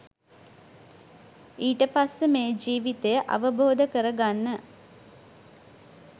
ඊටපස්සේ මේ ජීවිතය අවබෝධ කරගන්න